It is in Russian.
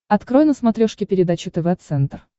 открой на смотрешке передачу тв центр